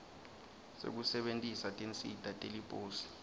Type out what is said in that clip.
sekusebentisa tinsita teliposi